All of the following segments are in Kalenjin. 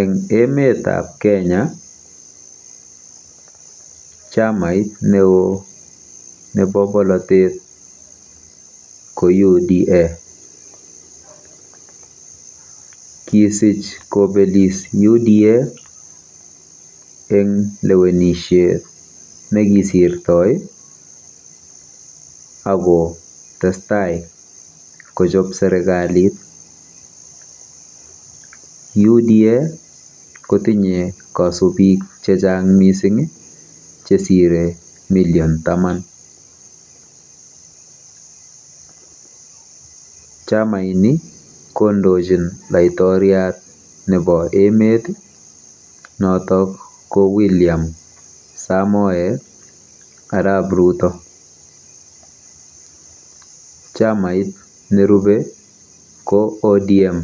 Eng emetab Kenya, chamait neoo nebo bolotet ko UDA.Kisich kobelis UDA eng lewenishet nekisirtoi ak kotestai kochob serikalit. UDA kotinye kasubik chechang mising chesire million taman. Chamaini kondojin laitoriat nebo emet notok ko William Samoei arap Ruto. Chamait nerubei ko ODM .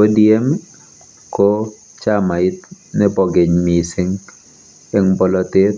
ODM ko chamait nebo keny mising eng polotet